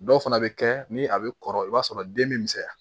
Dɔw fana bɛ kɛ ni a bɛ kɔrɔ i b'a sɔrɔ den bɛ misɛnya